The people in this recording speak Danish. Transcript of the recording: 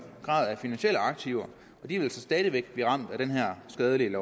grad af finansielle aktiver og de vil så stadig blive ramt af det her skadelige